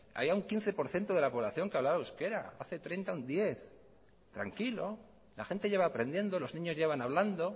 había un quince por ciento de la población que hablaba euskera hace treinta un diez por ciento tranquilo la gente ya va a aprendiendo los niños ya van hablando